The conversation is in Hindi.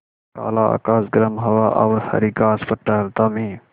काला आकाश गर्म हवा और हरी घास पर टहलता मैं